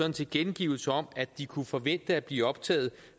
en tilkendegivelse om at de kunne forvente at blive optaget